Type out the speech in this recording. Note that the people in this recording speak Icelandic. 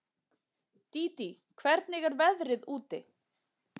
Dídí, hvernig er veðrið úti?